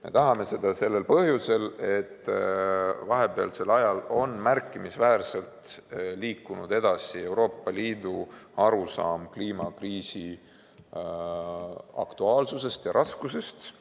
Me tahame seda põhjusel, et vahepeal on märkimisväärselt liikunud edasi Euroopa Liidu arusaam kliimakriisi aktuaalsusest ja raskusest.